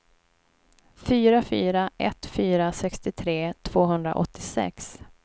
fyra fyra ett fyra sextiotre tvåhundraåttiosex